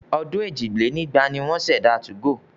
Ọdún èje lé lẹ́gbàá ni wọ́n ṣẹ̀dá 2go.